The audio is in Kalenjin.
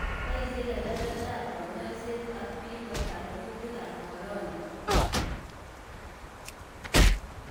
Boisye kebebertan konyoiset ak biik koter kutiikab corona